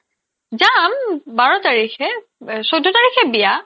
যাম বাৰ তাৰিখে অব্ চৈধ্য তাৰিখে বিয়া